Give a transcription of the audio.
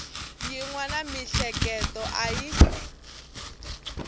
yin wana miehleketo a yi